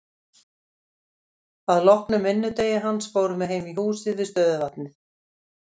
Að loknum vinnudegi hans fórum við heim í húsið við stöðuvatnið.